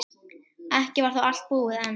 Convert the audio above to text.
Ekki var þó allt búið enn.